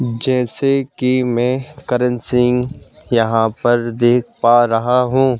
जैसे कि मैं करण सिंह यहां पर देख पा रहा हूं।